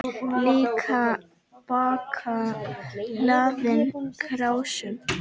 Líka bakka hlaðinn krásum.